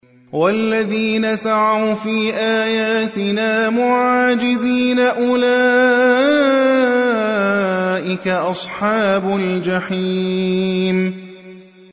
وَالَّذِينَ سَعَوْا فِي آيَاتِنَا مُعَاجِزِينَ أُولَٰئِكَ أَصْحَابُ الْجَحِيمِ